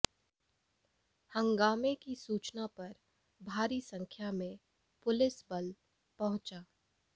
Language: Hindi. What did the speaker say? हंगामे की सूचना पर भारी संख्या में पुलिस बल पहुंचा